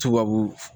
Tubabu